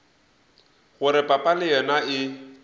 gore papa le yena e